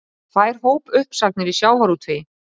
Tvær hópuppsagnir í sjávarútvegi